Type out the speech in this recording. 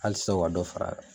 Halisa o ka dɔ far'a kan